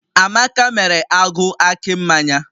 Amaka mere agụ akị mmanya